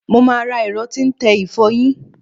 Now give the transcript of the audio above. Mo máa ra ẹ̀rọ tí ń tẹ ìfọyín.